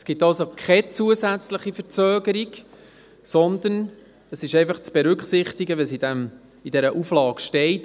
Es gibt somit keine zusätzliche Verzögerung, sondern im Rahmen der Arbeiten, die man sowieso an die Hand nehmen muss, ist einfach zu berücksichtigen, was in der Auflage steht.